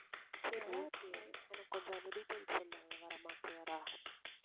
சரி okay எனக்கு கொஞ்சம் அந்த details சொல்லேன் கொஞ்சம் விவரமா clear ஆ